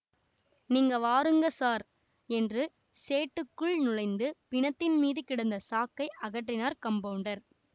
நீங்க வாருங்க ஸார் என்று ஷெட்டுக்குள் நுழைந்து பிணத்தின் மீது கிடந்த சாக்கை அகற்றினார் கம்பௌண்டர்